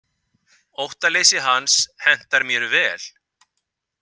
Óttaleysi hans hentar mér vel.